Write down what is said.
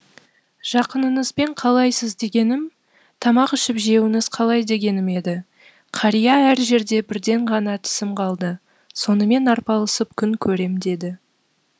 жақыныңызбен қалайсыз дегенім тамақ ішіп жеуіңіз қалай дегенім еді қария әр жерде бірден ғана тісім қалды сонымен арпалысып күн көрем деді